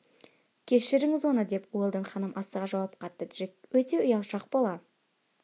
кешіріңіз оны деп уэлдон ханым асыға жауап қатты джек өте ұялшақ бала